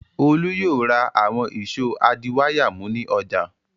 Olú yóò ra àwọn ìṣó adiwáyàmú ní ọjà.